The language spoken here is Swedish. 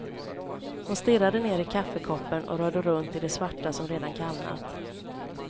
Hon stirrade ner i kaffekoppen och rörde runt i det svarta som redan kallnat.